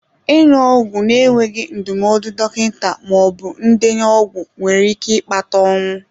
Ịṅụ ọgwụ na-enweghị ndụmọdụ dọkịta ma ọ bụ ndenye ọgwụ nwere ike ịkpata ọnwụ.